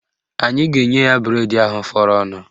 Anyị ga-enye ya bụredi ahụ fọrọnụ